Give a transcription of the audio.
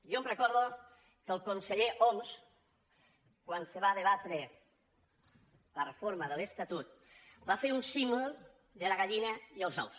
jo recordo que el conseller homs quan se va debatre la reforma de l’estatut va fer un símil de la gallina i els ous